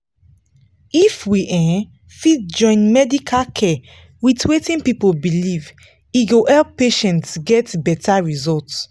if we um fit join medical care with wetin people believe e go help patients get better result.